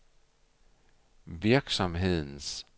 virksomhedens